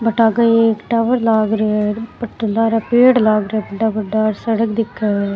But आगे एक tower लाग रो है बट लार पेड़ लाग रा है बड़ा बड़ा सड़क दिख है।